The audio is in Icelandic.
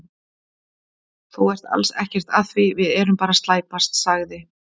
Þú ert alls ekkert að því, við erum bara að slæpast, sagði